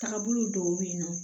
Tagabolo dɔw bɛ yen nɔ